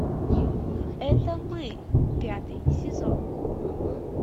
это мы пятый сезон